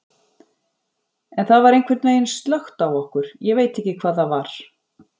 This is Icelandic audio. En það var einhvern veginn slökkt á okkur, ég veit ekki hvað það var.